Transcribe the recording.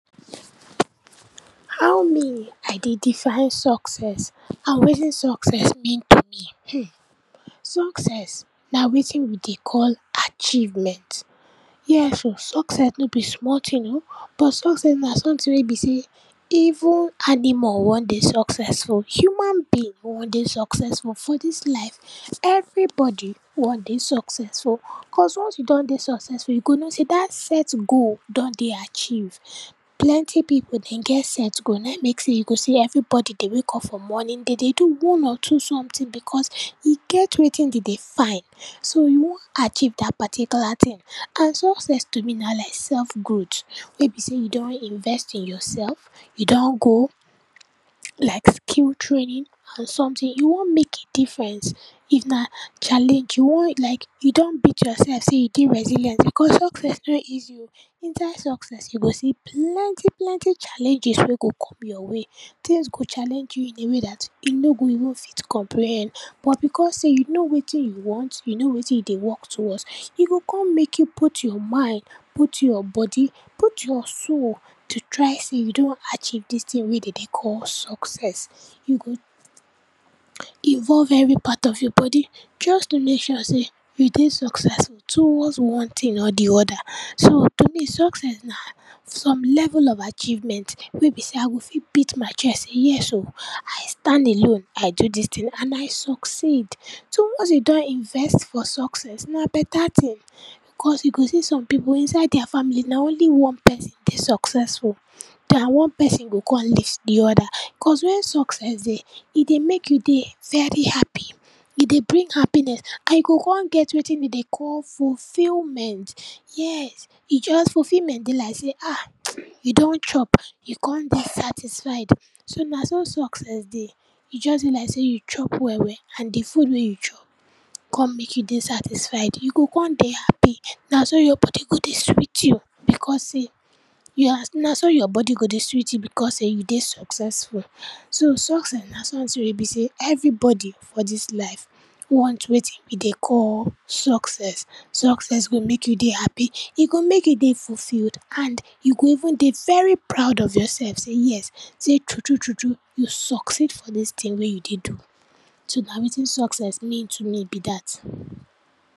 How me I dey define success and wetin success mean to me. Hmm, success na wetin we dey call achievement. Yes o, success no be small tin o but success na sometin wey be sey even animal wan dey successful, human being wan dey successful, for dis life, everybody wan dey successful, cos once you don dey successful you go know sey dat set goal don dey achieved. Plenty pipu den get set goal nai mek sey you go see everybody dey wake up for morning, den dey do one or two sometin because, e get wetin den dey find, so you wan achieve dat particular tin and success to me na like self growt wey be sey you don invest in yourself, you don go like skill training or sometin, you wan make a difference, if na challenge, you wan like, you don beat yourself sey you dey resilient, because success nor easy o. Inside success you go see plenty plenty challenges wey go come your way, tins go challenge you in a way dat you no go even fit comprehend, but because sey you know wetin you want, you know wetin you dey work towards, e go kon mek you put your mind, put your body, put your souls to try sey you don achieve dis tin wey den dey call success. You go involve every part of your body just to make sure sey you dey successful towards one tin or di anoda. So, to me, success na some level of achievement wey be sey I go fit beat my chest say yes o, I stand alone, I do dis tin and I succeed. So, once you don invest for success na beta tin, because you go see some pipu inside dia family na only one person dey successful, na one person go kon lift di oda. Cos wen success dey, e dey mek you dey very happy, e dey bring happiness and you go kon get wetin we dey call fulfilment, yes, e just, fulfilment dey like sey, ah you don chop, you kon dey satisfied, so, na so success dey, e just dey like sey you chop well well and di food wey you chop kon mek you dey satisfied, you go kon dey happy, na so your body go dey sweet you because sey you as, na so your body go dey sweet you because sey you dey successful. So, success na sometin wey be sey everybody for dis life want wetin we dey call success. Success go mek you dey happy, e go mek you dey fulfilled and you go even dey very proud of yourself say yes, sey true true true true you succeed for dis tin wey you dey do. So, na wetin success mean to me be dat.